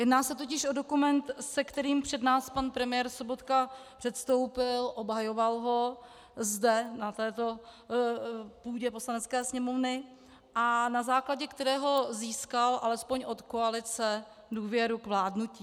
Jedná se totiž o dokument, se kterým před nás pan premiér Sobotka předstoupil, obhajoval ho zde, na této půdě Poslanecké sněmovny, a na základě kterého získal alespoň od koalice důvěru k vládnutí.